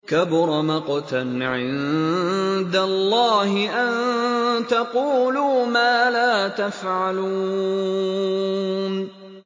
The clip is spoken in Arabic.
كَبُرَ مَقْتًا عِندَ اللَّهِ أَن تَقُولُوا مَا لَا تَفْعَلُونَ